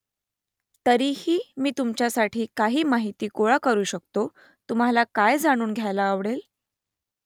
तरीही मी तुमच्यासाठी काही माहिती गोळा करू शकतो तुम्हाला काय जाणून घ्यायला आवडेल ?